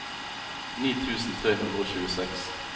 ni tusen tre hundre og tjueseks